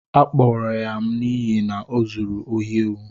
A kpụrụrụ ya n'ihi na ọzụrụ ohị éwu